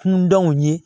Kundɔn ye